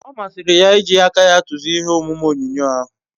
O masiri ya iji aka ya tuzie ihe omume onyonyo ahu